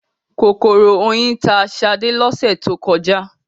Kòkòrò oyin ta ṣadé lọ́sẹ̀ tó kọjá.